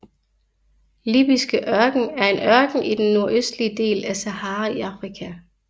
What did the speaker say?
Libyske Ørken er en ørken i den nordøstlige del af Sahara i Afrika